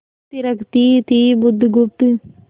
थिरकती थी बुधगुप्त